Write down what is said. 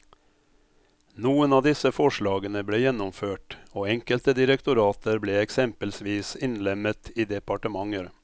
Noen av disse forslagene ble gjennomført og enkelte direktorater ble eksempelsvis innlemmet i departementer.